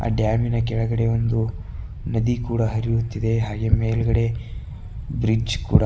dam ಇನ ಕೆಳಗಡೆ ಒಂದು ನದಿ ಕೂಡ ಹರಿಯುತ್ತಿದೆ ಹಾಗೆ ಮೇಲ್ಗಡೆ ಬ್ರಿಡ್ಜ್ ಕೂಡ --